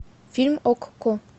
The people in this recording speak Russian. фильм окко